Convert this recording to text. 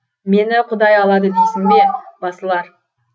мені құдай алады дейсің бе басылар